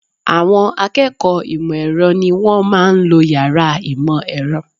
Àwọn akẹ́kọ̀ọ́ ìmọ̀ ẹ̀rọ ni wọ́n máa ń lo yàrá ìmọ̀ ẹ̀rọ